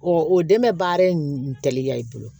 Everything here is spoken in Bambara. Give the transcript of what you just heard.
o dɛmɛ baara in kɛlen ya i bolo